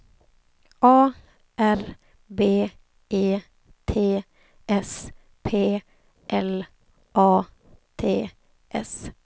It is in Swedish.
A R B E T S P L A T S